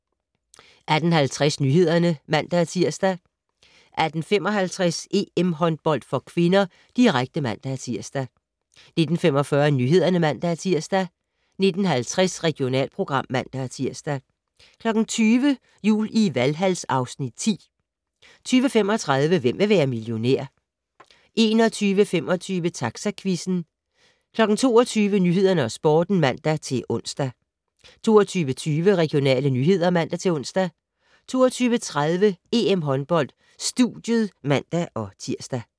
18:50: Nyhederne (man-tir) 18:55: EM-håndbold (k), direkte (man-tir) 19:45: Nyhederne (man-tir) 19:50: Regionalprogram (man-tir) 20:00: Jul i Valhal (Afs. 10) 20:35: Hvem vil være millionær? 21:25: Taxaquizzen 22:00: Nyhederne og Sporten (man-ons) 22:20: Regionale nyheder (man-ons) 22:30: EM-håndbold: Studiet (man-tir)